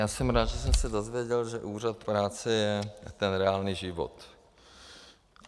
Já jsem rád, že jsem se dozvěděl, že Úřad práce je ten reálný život.